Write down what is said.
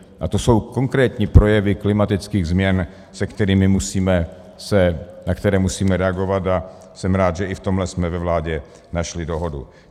A to jsou konkrétní projevy klimatických změn, na které musíme reagovat, a jsem rád, že i v tomhle jsme ve vládě našli dohodu.